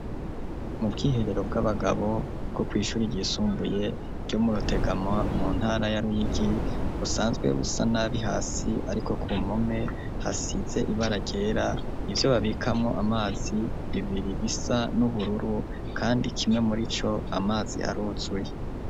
Mu bwiherero bw'abagabo bwo kw'ishuri ryisumbuye ryo Murutegama mu ntara ya Ruyigi busanzwe busa nabi hasi ariko ku mpome hasize ibara ryera ivyo babikamwo amazi biri bisa n'ubururu kandi kimwe murico amazi aruzuye.